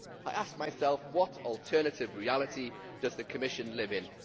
I ask myself what alternative reality does the Commission live in?